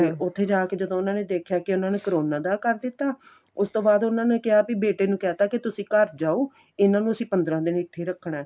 ਉਥੇ ਜਾ ਕੇ ਜਦੋਂ ਉਨ੍ਹਾਂ ਨੇ ਦੇਖਿਆ ਕੀ ਉਨ੍ਹਾਂ ਨੇ ਕਰੋਨਾ ਦਾ ਕਰ ਦਿੱਤਾ ਉਸ ਤੋਂ ਬਾਅਦ ਉਨ੍ਹਾਂ ਨੇ ਕਿਆ ਆਪ ਈ ਬੇਟੇ ਨੂੰ ਕਹਿ ਤਾ ਕੇ ਤੁਸੀਂ ਘਰ ਜਾਉ ਇੰਨਾ ਨੂੰ ਅਸੀਂ ਪੰਦਰਾਂ ਦਿਨ ਇਥੇ ਈ ਰੱਖਣਾ